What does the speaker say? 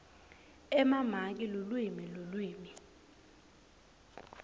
emamaki lulwimi lulwimi